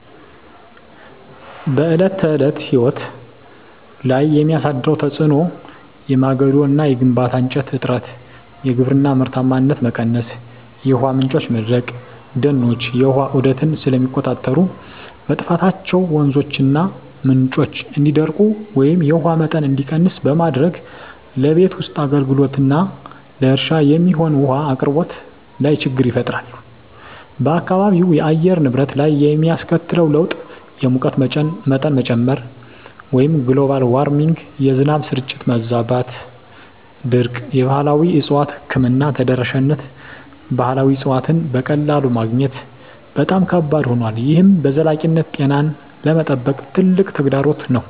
በዕለት ተዕለት ሕይወት ላይ የሚያሳድረው ተጽዕኖ የማገዶ እና የግንባታ እንጨት እጥረት፣ የግብርና ምርታማነት መቀነስ፣ የውሃ ምንጮች መድረቅ፦ ደኖች የውሃ ዑደትን ስለሚቆጣጠሩ፣ መጥፋታቸው ወንዞችና ምንጮች እንዲደርቁ ወይም የውሃ መጠን እንዲቀንስ በማድረግ ለቤት ውስጥ አገልግሎትና ለእርሻ የሚሆን ውሃ አቅርቦት ላይ ችግር ፈጥሯል። በአካባቢው አየር ንብረት ላይ የሚያስከትለው ለውጥ _የሙቀት መጠን መጨመር (Global Warming) -የዝናብ ስርጭት መዛባትና ድርቅ የባህላዊ እፅዋት ሕክምና ተደራሽነት ባህላዊ እፅዋትን በቀላሉ ማግኘት በጣም ከባድ ሆኗል፣ ይህም በዘላቂነት ጤናን ለመጠበቅ ትልቅ ተግዳሮት ነው።